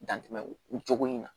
Dan tɛmɛn o cogo in na